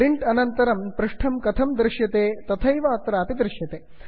print अनन्तरं पृष्ठं कथं दृश्यते तथैव अत्रापि दृश्यते